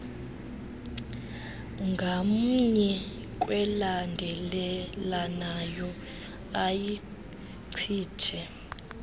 ngamnye kwelandelelanayo ayichithe